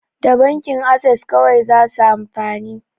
Da bankin ases kawai zasu amfani